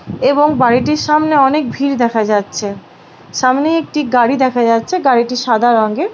এবং বাড়িটির সামনে অনেক ভিড় দেখা যাচ্ছে সামনে একটি গাড়ি দেখা যাচ্ছে গাড়িটি সাদা রংয়ের।